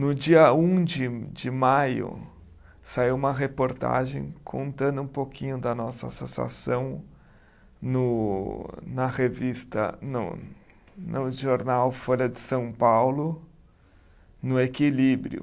No dia um de de maio, saiu uma reportagem contando um pouquinho da nossa associação no na revista, não, no jornal Folha de São Paulo, no Equilíbrio.